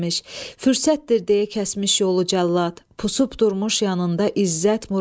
Fürsətdir deyə kəsmiş yolu cəllad, pusub durmuş yanında İzzət Murad.